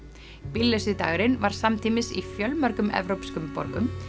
bíllausi dagurinn var samtímis í fjölmörgum evrópskum borgum